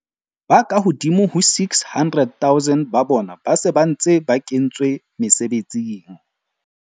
Ba ka hodimo ho 600 000 ba bona ba se ba ntse ba kentswe mesebetsing.